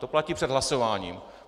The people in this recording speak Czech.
To platí před hlasováním.